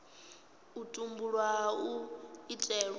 u tumbulwa hu tshi itelwa